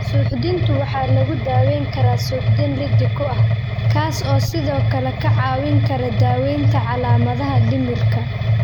Suuxdintu waxa lagu daweyn karaa suuxdin liddi ku ah, kaas oo sidoo kale kaa caawin kara daawaynta calaamadaha dhimirka.